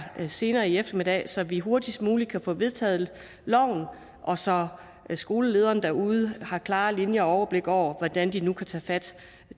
senere i eftermiddag så vi hurtigst muligt kan få vedtaget loven og så skolelederne derude har klare linjer og overblik over hvordan de nu kan tage fat